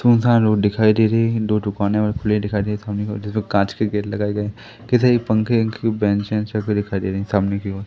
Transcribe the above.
सुमसान road दिखाई दे रहा है। दो दुकाने ओर खुले दिखाई दे रहे है ठंडी के वजह से कांच के गेट लगाए गए है। कैसे ये पंखे-वंखे बैंच है छत दिखाई दे रही है सामने की ओर--